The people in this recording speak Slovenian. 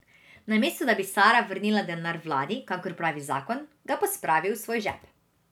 Namesto, da bi Sara vrnila denar vladi, kakor pravi zakon, ga pospravi v svoj žep.